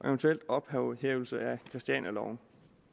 eventuel ophævelse af christianialoven